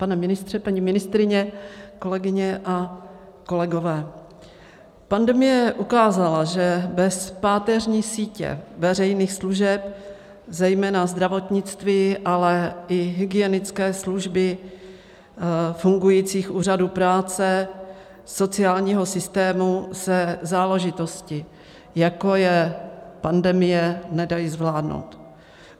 Pane ministře, paní ministryně, kolegyně a kolegové, pandemie ukázala, že bez páteřní sítě veřejných služeb, zejména zdravotnictví, ale i hygienické služby, fungujících úřadů práce, sociálního systému se záležitosti, jako je pandemie, nedají zvládnout.